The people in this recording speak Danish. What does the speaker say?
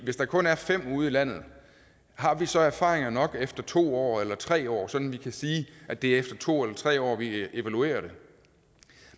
hvis der kun er fem af dem ude i landet har vi så erfaringer nok efter to år eller tre år sådan at vi kan sige at det er efter to eller tre år vi evaluerer det